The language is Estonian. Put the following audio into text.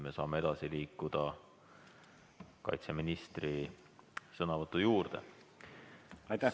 Nüüd saame edasi liikuda kaitseministri sõnavõtu juurde.